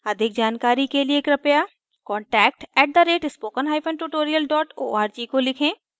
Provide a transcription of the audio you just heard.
अधिक जानकारी के लिए कृपया contact @spokentutorial org को लिखें